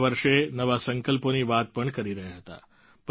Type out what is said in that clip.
નવા વર્ષે નવા સંકલ્પોની વાત પણ કરી રહ્યા હતા